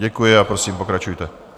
Děkuji a prosím, pokračujte.